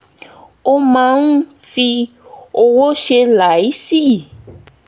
wọ́n máa ń fi ọ̀wọ̀ ṣe é láìsí